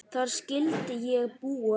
Þar skyldi ég búa.